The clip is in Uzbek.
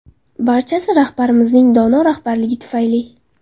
Barchasi rahbarimizning dono rahbarligi tufayli”.